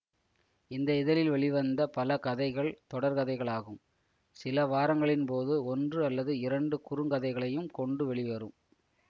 இந்த இதழில் வெளிவந்த பல கதைகள் தொடர்கதைகள் ஆகும் சில வாரங்களின் போது ஒன்று அல்லது இரண்டு குறுங்கதைகளையும் கொண்டு வெளிவரும்